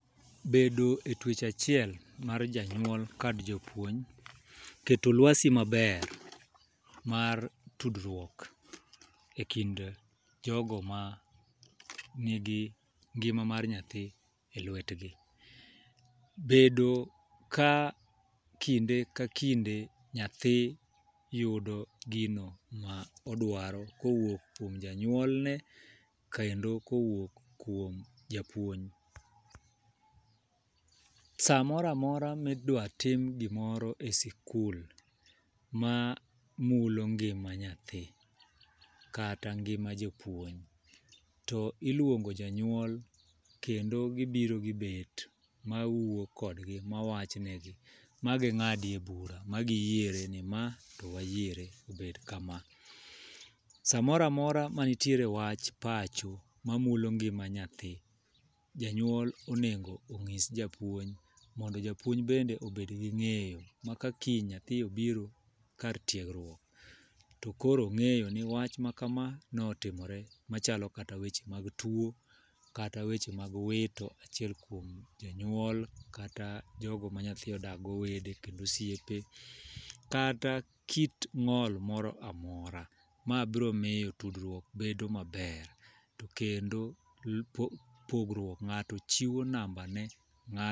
Bedo e twech achiel mar janyuol kod jopuonj ,keto lwasi maber mar tudruok e kind jogo ma nigi ngima mar nyathi e lwetgi, bedo ka kinde ka kinde nyathi yudo gino ma odwaro kowuok kuom janyuolne kendo kowuok kuom japuonj. Samoramora midwa tim gimoro e sikul ma mulo ngima nyathi kata ngima jopuonj to iluongo janyuol kendo gibiro gibet ma wuo kodgi mawach ne gi ma ging'adie bura ma giyiere ni ma to wayiere obed kama. samoramora mantie wach pacho mamulo ngima nyathi janyuol onego ong'is japuonj mondo japuonj bende obed gi ng'eyo ma ka japuonj obiro kar tiegruok tokoro ong'eyo ni wach ma kama notimore machalo kata weche mag tuo kata weche mag wito achiel kuom janyuol kata jogo ma nyathi odak go wede kendo osiepe kata kit ng'ol moro amora . Ma biro miyo tudruok bedo maber to kendo pogruok ng'ato chiwo namba ne